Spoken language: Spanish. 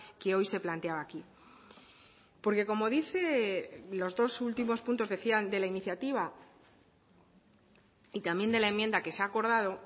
que hoy se planteaba aquí porque como dice los dos últimos puntos decían de la iniciativa y también de la enmienda que se ha acordado